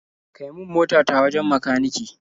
Kai min mota ta wajen makanike.